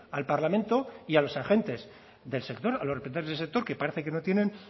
al parlamento y a los agentes del sector a los del sector que parece que no tienen